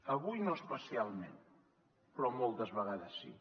avui no especialment però moltes vegades sí